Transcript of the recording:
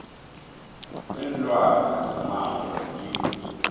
linlwane zomango ziyingozi